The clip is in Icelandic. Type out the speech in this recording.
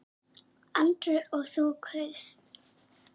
Andri: Og þú kaust?